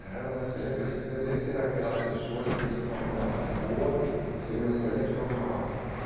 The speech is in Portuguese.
Era um excelente... Ele deveria ser aquelas pessoas que iriam ter uma formação boa e seria um excelente profissional.